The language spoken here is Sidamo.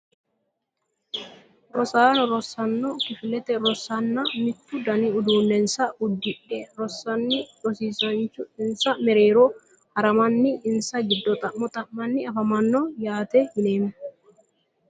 Rosaano rosaano kifilete rosanna mittu dani uduunensa udidhe rosana rosiisanchu insa mereero haramani insa giddo xa`mmo xamani afamanno yaate yineemo.